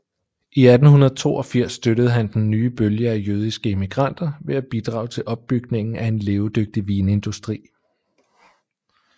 I 1882 støttede han den nye bølge af jødiske immigranter ved at bidrage til opbygningen af en levedygtig vinindustri